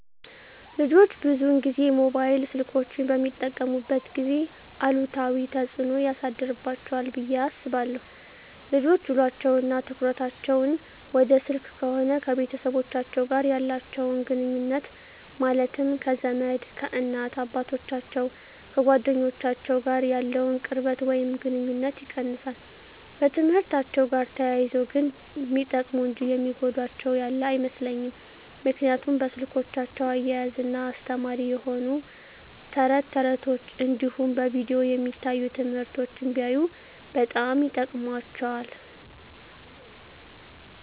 ልጆች ብዙን ጊዜ ሞባይል ስልኮችን በሚጠቀሙበት ጊዜ አሉታዊ ተፅዕኖ ያሳድርባቸዋል ብየ አስባለው ልጆች ውሎቸው እና ትኩረታቸውን ወደ ስልክ ከሆነ ከቤተሰቦቻቸው ጋር ያላቸውን ግኑኙነት ማለትም ከዘመድ፣ ከእናት አባቶቻቸው፣ ከጓደኞቻቸው ጋር ያለውን ቅርበት ወይም ግኑኝነት ይቀንሳል። በትምህርትአቸው ጋር ተያይዞ ግን ሚጠቀሙ እንጂ የሚጎዳቸው ያለ አይመስለኝም ምክንያቱም በስልኮቻቸው እያዝናና አስተማሪ የሆኑ ተረት ተረቶች እንዲሁም በቪዲዮ የሚታዩ ትምህርቶችን ቢያዩ በጣም ይጠቅማቸዋል።